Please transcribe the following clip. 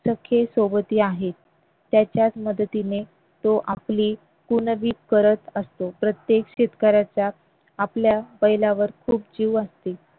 सखे सोबती आहे त्याच्याच मदतीने तो आपली पुनवि करत असतो प्रत्येक शेतकऱ्याच्या आपल्या बैलावर खूप जीव असतो